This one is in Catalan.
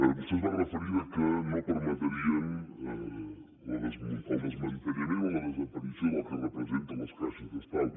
vostè es va referir que no permetrien el desmantellament o la desaparició del que representen les caixes d’estalvi